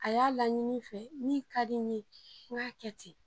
A y'a laɲini n fɛ, min ka di n ye, n k'a kɛ ten